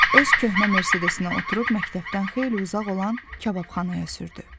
Öz köhnə Mercedes-inə oturub məktəbdən xeyli uzaq olan kababxanaya sürdü.